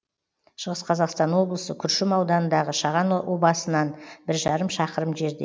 шығыс қазақстан облысы күршім ауданындағы шаған обасынан бір жарым шақырым жерде